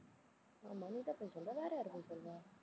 ஆமா நீ தான் பொய் சொல்ற வேறயாரு பொய் சொல்றா?